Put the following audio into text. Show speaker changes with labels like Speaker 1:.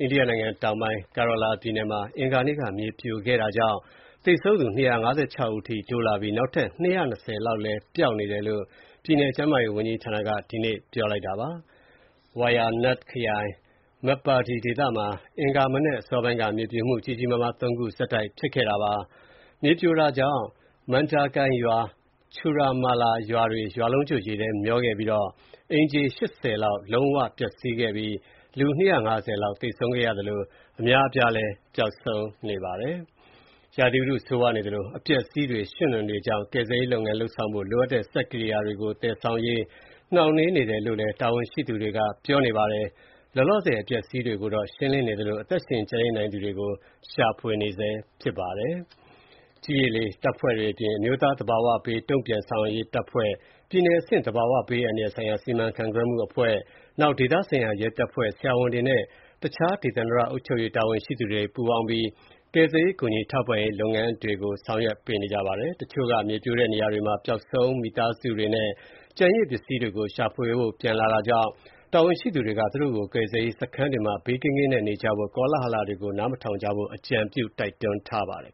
Speaker 1: အိန္ဒိယနိုင်ငံတောင်ပိုင်း Kerala ပြည်နယ်မှာ အင်္ဂါနေ့က ရေကြီး မြေပြိုုမှုတွေကြောင့် သေဆုံးသူ ၂၅၆ ဦးအထိ တိုးလာပြီး နောက်ထပ် ၂၂၀ လောက်ပျောက်နေတယ်လို့ ပြည်နယ်ကျန်းမာရေးဝန်ကြီးဌာနက ဒီကနေ့ ပြောပါတယ်။ Wayanad ခရိုင် Meppadi ဒေသမှာ အင်္ဂါမနက်အစောပိုင်းက မြေပြိုမှု ကြီးကြီးမားမား ၃ ခုဆက်တိုက်ဖြစ်ခဲ့တာပါ။ မြေပြိုတာကြောင့် Mundakai ရွာ နဲ့ Churalmala ရွာတွေ ရွာလုံးကျွတ် ရေထဲမျောပါခဲ့ပြီးတော့ အိမ်ခြေ ၈၀ လောက် လုံးဝပျက်စီးခဲ့ပြီး လူ ၂၅၀ လောက်သေဆုံးခဲ့သလို အများအပြား ပျောက်ဆုံးနေပါတယ်။ ရာသီဥတုဆိုးရွားနေသလို အပျက်အစီးတွေ၊ ရွှံ့နွံတွေကြောင့် ကယ်ဆယ်ရေး လုပ်ဆောင်ဖို့ လိုအပ်တဲ့ စက်ကိရိယာတွေကို သယ်ဆောင်ရေး နှောင့်နှေးနေတယ်လို့ တာဝန်ရှိသူတွေကပြောပါတယ်။ လောလောဆယ် အပျက်အစီးတွေကို ရှင်းလင်းနေသလို အသက်ရှင် ကျန်ရစ်နိုင်သူတွေကို ရှာဖွေနေတာပါ။ ကြည်း၊ ရေ၊ လေ တပ်ဖွဲ့တွေအပြင် အမျိုးသား သဘာဝဘေး တုံ့ပြန်ဆောင်ရွက်ရေးတပ်ဖွဲ့၊ ပြည်နယ်အဆင့် သဘာဝဘေးအန္တရာယ်ဆိုင်ရာ စီမံခန့်ခွဲမှုအဖွဲ့၊ ဒေသဆိုင်ရာရဲတပ်ဖွဲ့၊ ဆရာဝန်တွေနဲ့ တခြား ဒေသန္တရ အုပ်ချုပ်ရေးတာဝန်ရှိသူတွေ ပူးပေါင်းပြီး ကယ်ဆယ်ရေးနဲ့ ကူညီထောက်ပံ့ရေး လုပ်ငန်းတွေကို ဆောင်ရွက်ပေးနေပါတယ်။ တချို့က မြေပြိုတဲ့နေရာတွေမှာ ပျောက်ဆုံးမိသားစုဝင်တွေနဲ့ ကျန်ရစ်ပစ္စည်းတွေကို ရှာဖွေဖို့ ပြန်လာကြတာကြောင့် တာဝန်ရှိသူတွေက သူတို့ကို ကယ်ဆယ်ရေးစခန်းတွေမှာ ဘေးကင်းကင်းနေကြဖို့နဲ့ ကောလဟလတွေကို နားမထောင်ကြဖို့ အကြံပြုတိုက်တွန်းထားပါတယ်